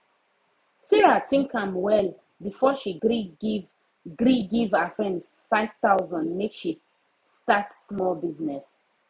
sarah think am well before she gree give gree give her friend 5000 make she start small business